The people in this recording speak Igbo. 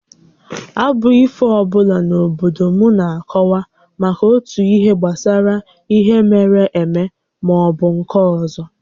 Abụ ifo ọ bụla n’obodo m na-akọwa maka otu ihe gbasara ihe mere eme maọbụ nke ọzọ